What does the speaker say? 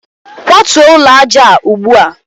kwatuo ụlọ aja a ugbu a!